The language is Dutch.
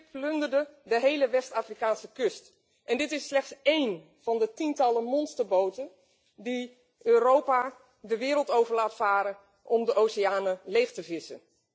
Het schip plunderde de hele West Afrikaanse kust, en dit is slechts één van de tientallen monsterboten die Europa de wereld over laat varen om de oceanen leeg te vissen.